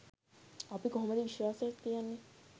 අපි කොහොමද විශ්වාසයක් තියන්නේ